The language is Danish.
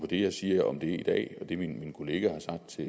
det jeg siger om det i dag og det min kollega har sagt til